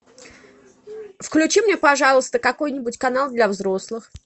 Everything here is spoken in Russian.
включи мне пожалуйста какой нибудь канал для взрослых